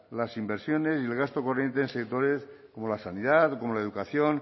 las inversiones y el gasto corriente en sectores como la sanidad o como la educación